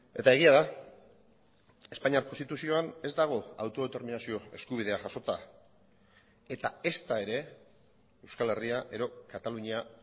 eta egia da espainiar konstituzioan ez dago autodeterminazio eskubidea jasota eta ezta ere euskal herria edo katalunia